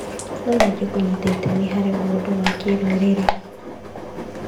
No nyende kũnyita itemi harĩ maũndũ ma kĩrũrĩrĩ.